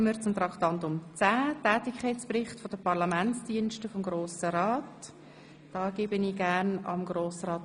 Wir gehen über zu Traktandum 10, dem Tätigkeitsbericht 2016 der Parlamentsdienste des Grossen Rats.